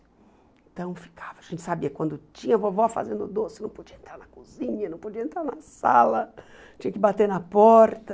Então ficava, a gente sabia, quando tinha vovó fazendo o doce, não podia entrar na cozinha, não podia entrar na sala, tinha que bater na porta.